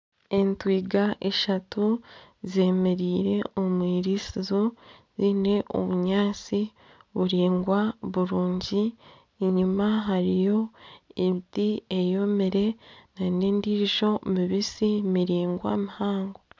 Entwiga ishatu zemereire omu iritsizo ziine obunyaantsi buringwa burungi enyima hariyo emiti eyomire n'endijo mibitsi miringwa mihango.